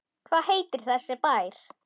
Hvað heitir þessi bær?